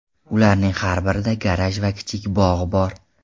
Ularning har birida garaj va kichik bog‘ bor.